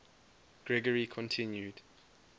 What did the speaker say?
gregory continued